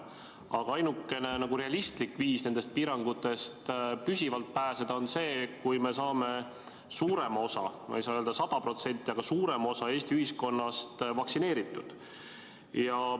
Aga ainukene realistlik viis nendest piirangutest püsivalt pääseda on see, kui me saame suurema osa – ma ei saa öelda, et sada protsenti, aga suurema osa – Eesti ühiskonnast vaktsineeritud.